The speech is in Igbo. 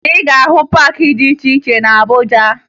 Ị ga-ahụ paakị dị iche iche na Abuja